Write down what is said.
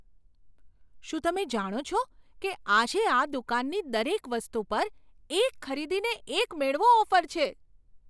શું તમે જાણો છો કે આજે આ દુકાનની દરેક વસ્તુ પર એક ખરીદીને એક મેળવો ઓફર છે?